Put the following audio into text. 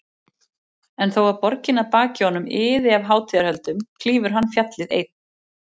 En þó að borgin að baki honum iði af hátíðarhöldum klífur hann fjallið, einn.